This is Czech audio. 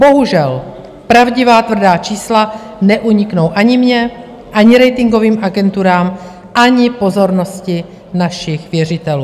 Bohužel pravdivá tvrdá čísla neuniknou ani mně, ani ratingovým agenturám, ani pozornosti našich věřitelů.